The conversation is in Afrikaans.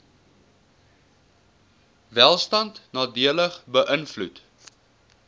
welstand nadelig beïnvloed